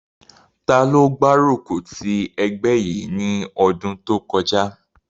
Taló gbárùkù ti ẹgbẹ́ yìí ní ọdún kọjá?